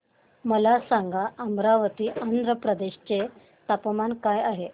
मला सांगा अमरावती आंध्र प्रदेश चे तापमान काय आहे